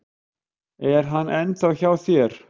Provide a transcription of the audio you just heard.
Er hann ennþá hjá þér?